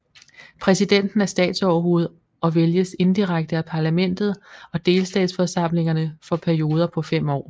Præsidenten er statsoverhoved og vælges indirekte af parlamentet og delstatsforsamlingerne for perioder på fem år